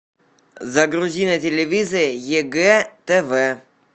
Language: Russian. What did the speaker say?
загрузи на телевизоре егэ тв